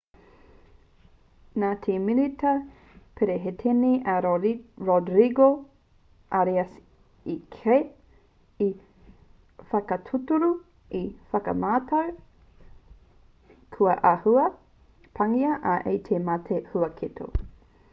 nā te minita perehitene a rodrigo arias i kī i whakatūturu te whakamātau kua āhua pāngia ia e te mate huaketo